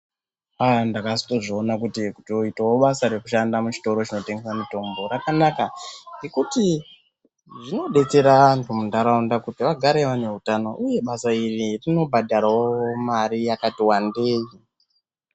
Aaa ndakazozvionawo kuti kuitawo basa rekutengesa muchitoro chinotengeswa mutombo rakanaka nekuti zvinodetsera antu kuti agare ane hutano uye basa iri robhadharawo mare yakati wandei.